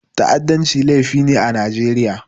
Ta'addanci laifi ne a Najeriya.